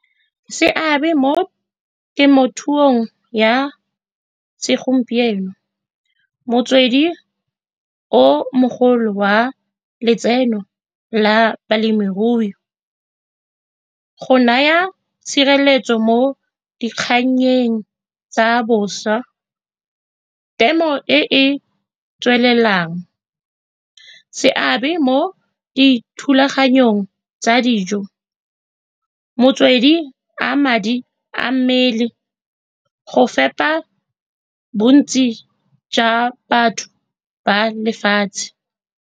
Seabe mo temothuong ya segompieno, motswedi o mogolo wa letseno la balemirui, go naya tshireletso mo dikgannyeng tsa boswa, temo e e tswelelang seabe mo dithulaganyong tsa dijo, motswedi wa madi a mmele go fepa bontsi jwa batho ba lefatshe.